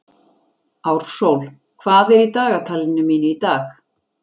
Ársól, hvað er í dagatalinu mínu í dag?